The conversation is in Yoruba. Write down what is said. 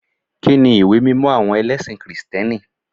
Kíni ìwé mímọ àwọn ẹlẹ́sìn kìrìtẹ́nì?